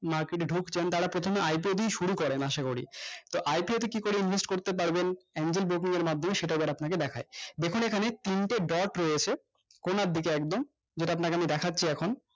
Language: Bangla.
হোক যেমন তারা প্রথমেই IPO দিয়ে শুরু করে না আসা করি তো IPO ওর কি করে invest করতে পারবেন angel broking এর মাধ্যমে সেইটা এবার আপনাকে দেখায় দেখবে এখানে তিনটে dot রয়েছে কোনার দিকে একদম যেইটা আমি আপনাকে দেখছি এখন